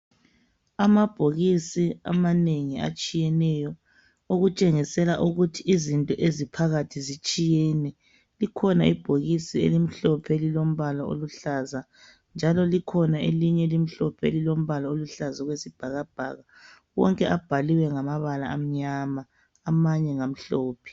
Amabhokisi amanengi atshiyeneyo. Okutshengisela ukuthi izinto eziphakathi zitshiyene. Likhona ibhokisi elimhlophe, elilombala oluhlaza, njalo likhona elinye elimhlophe, elilombala oluhlaza okwesibhakabhaka. Wonke abhaliwe ngamabala amnyama. Amanye ngamhlophe.